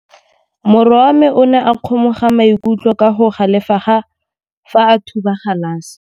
Morwa wa me o ne a kgomoga maikutlo ka go galefa fa a thuba galase.